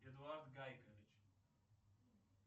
эдуард гайкович